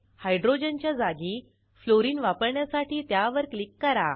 हायड्रोजनच्या जागी फ्लोरीन वापरण्यासाठी त्यावर क्लिक करा